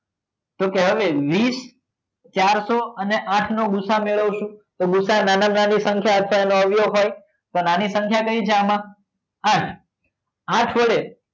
તો કે હવે વીસ ચારસો અને આઠ નો ભૂસા મેળવશો તો ભુસા નાનામાં નાની સંખ્યા હોય તો નાની સંખ્યા કઈ છે આમાં આઠ આઠ વડે